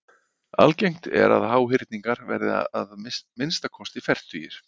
Algengt er að háhyrningar verði að minnsta kosti fertugir.